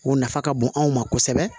O nafa ka bon anw ma kosɛbɛ